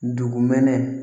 Dugumɛnɛ